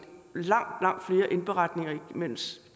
langt langt flere indberetninger imens